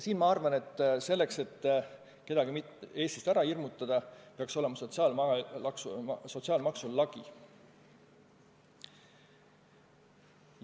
Ja selleks, et kedagi mitte ära hirmutada ja Eestist lahkuma sundida, peaks sotsiaalmaksul lagi olema.